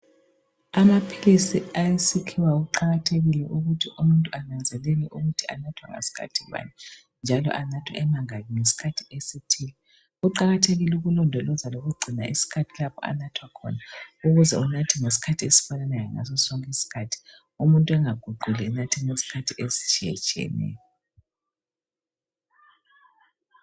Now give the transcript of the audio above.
Amaphilisi awesikhiwa kuqakathekile ukuthi umuntu ananzelele ukuthi anathwa ngasikhathi bani njalo anathwa emangaki ngesikhathi esithile. Kuqakathekile ukulondoloza lokugcina isikhathi lapho anathwa khona ukuze unathe ngesikhathi esifananayo ngaso sonke isikhathi. Umuntu angaguquli enathe ngesikhathi ezitshiyetshiyeneyo.